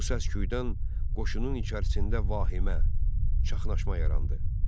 Bu səsküdən qoşunun içərisində vahimə, çaxnaşma yarandı.